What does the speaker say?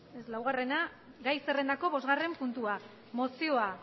ez laugarrena gai zerrendako bosgarren puntua mozioa